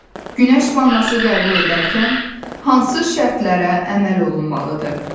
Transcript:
Günəş vannası qəbul edərkən hansı şərtlərə əməl olunmalıdır?